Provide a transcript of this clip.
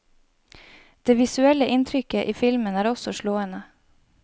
Det visuelle inntrykket i filmen er også slående.